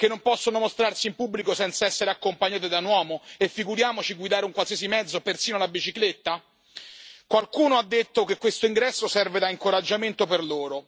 Che non possono mostrarsi in pubblico senza essere accompagnate da un uomo, e figuriamoci guidare un qualsiasi mezzo, persino la bicicletta? Qualcuno ha detto che questo ingresso serve da incoraggiamento per loro.